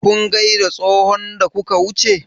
Kun gaida tsohon da kuka wuce?